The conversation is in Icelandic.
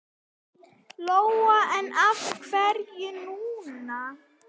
Lóa: En af hverju núna?